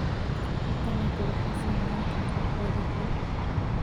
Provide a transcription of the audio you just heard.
Dalagga waxaa saameyn kara cudurro.